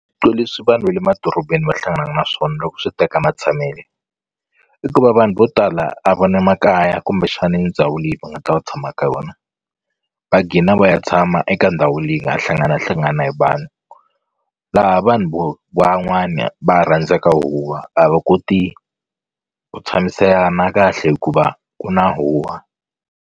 leswi vanhu le madorobeni va hlanganaku na swona loko swi teka matshamele i ku va vanhu vo tala a va na makaya kumbexani ndhawu leyi va nga ta tshama ka yona va gina va ya tshama eka ndhawu leyi nga ha hlanganahlangana hi vanhu laha vanhu vo van'wani va rhandzaka huwa a va koti ku tshamisana kahle hikuva ku na huwa.